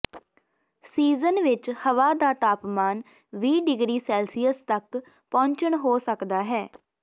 season ਵਿੱਚ ਹਵਾ ਦਾ ਤਾਪਮਾਨ ਵੀਹ ਡਿਗਰੀ ਸੈਲਸੀਅਸ ਤੱਕ ਪਹੁੰਚਣ ਹੋ ਸਕਦਾ ਹੈ